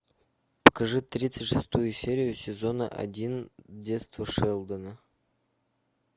покажи тридцать шестую серию сезона один детство шелдона